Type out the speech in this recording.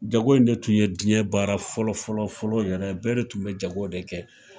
Jago in de tun ye diɲɛ baara fɔlɔ fɔlɔ fɔlɔ yɛrɛ, bɛɛ de tun bɛ jago de kɛ.